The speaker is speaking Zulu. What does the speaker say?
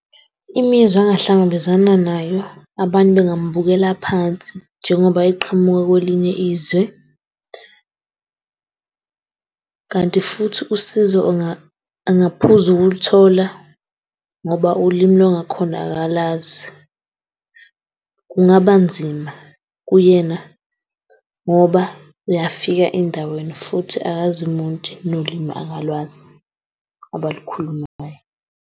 Imizwa angahlangabezana nayo, abantu bengambukela phansi njengoba eqhamuka kwelinye izwe. Kanti futhi usizo angaphuza ukulithola ngoba ulimi lwangakhona akalazi. Kungaba nzima kuyena ngoba uyafika endaweni futhi akazi muntu nolimi akalwazi abalukhulumayo.